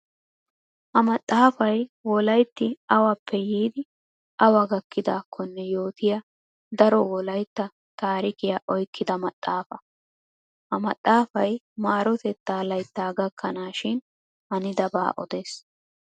Ha maxxaafay wolayitti awappe yiiddi awa gakkidaakkonne yootiya daro wolayitta tasrikiya oyikkida maxxaafa. Ha maxxaafay maarotetta layitta gakkanaashin hanidabaa odes.